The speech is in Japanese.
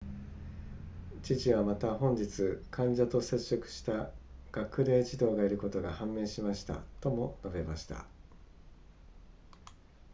知事はまた本日患者と接触した学齢児童がいることが判明しましたとも述べました